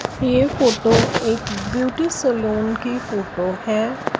ये फोटो एक beauty salon की फोटो हैं।